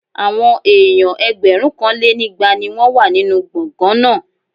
Àwọn èèyàn ẹgbẹ̀rúnkanlénígba ni wọ́n wà nínú gbọ̀ngán náà